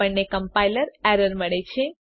આપણને compiler error મળે છે